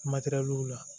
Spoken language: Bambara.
Matɛrɛliw la